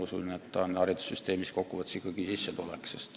Usun, et kokku võttes on see haridussüsteemis ikkagi sissetulek.